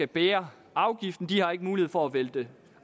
bære afgiften de har ikke mulighed for at vælte